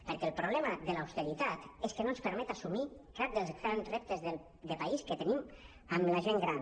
perquè el problema de l’austeritat és que no ens permet assumir cap dels grans reptes de país que tenim amb la gent gran